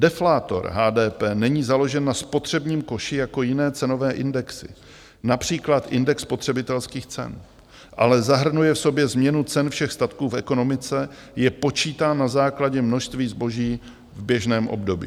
Deflátor HDP není založen na spotřebním koši jako jiné cenové indexy, například index spotřebitelských cen, ale zahrnuje v sobě změnu cen všech statků v ekonomice, Je počítán na základě množství zboží v běžném období.